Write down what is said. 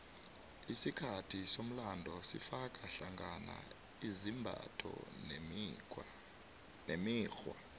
isikhathi somlando sifaka hlangana izimbatho nemikghwa